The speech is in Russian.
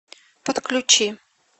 подключи